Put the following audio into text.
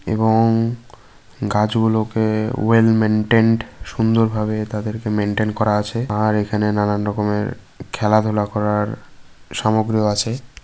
এব-ংগাছগুলো-কে well maintained সুন্দর-ভাবে তাদেরকে maintain করা আছেআর এখানে নানান রকমেরখেলাধুলা করারসামগ্র আছে।